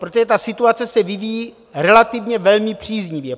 Protože ta situace se vyvíjí relativně velmi příznivě.